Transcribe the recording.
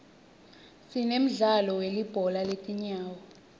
sinemdzalo welibhola letingawo